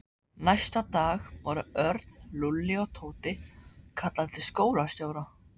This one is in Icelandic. Næsta dag voru Örn, Lúlli og Tóti kallaðir til skólastjóra.